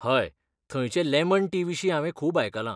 हय, थंयचे lemon tea विशीं हांवें खूब आयकलांं.